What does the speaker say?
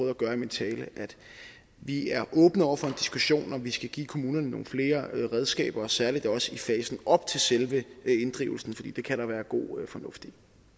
at gøre i min tale at vi er åbne over for en diskussion og vi skal give kommunerne nogle flere redskaber og særligt også i fasen op til selve inddrivelsen fordi det kan der være god fornuft